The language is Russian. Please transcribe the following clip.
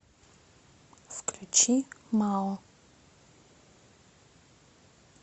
включи мао